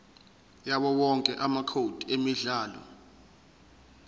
yawowonke amacode emidlalo